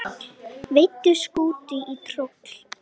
Veiddu skútu í troll